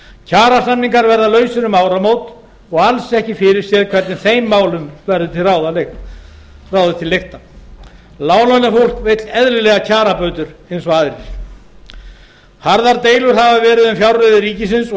kjarasamningar verða lausir um áramót og alls ekki er fyrirséð hvernig þeim málum verður ráðið til lykta láglaunafólk vill eðlilega kjarabætur eins og aðrir harðar deilur hafa verið um fjárreiður ríkisins og